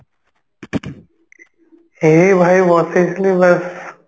ଏଇ ଭାଇ ବସିଥିଲି ବସ